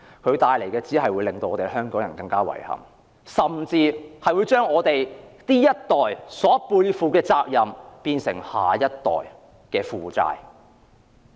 這項計劃只會為香港人帶來更多遺憾，甚至將我們這一代背負的責任變成下一代的負債。